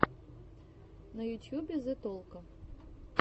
на ютьюбе зе толко